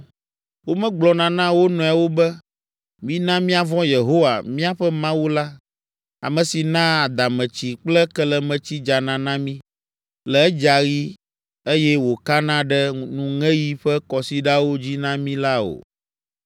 Womegblɔna na wo nɔewo be, ‘Mina míavɔ̃ Yehowa, míaƒe Mawu la, ame si naa adametsi kple kelemetsi dzana na mí le edzaɣi eye wòkana ɖe nuŋeɣi ƒe kɔsiɖawo dzi na mí’ la o.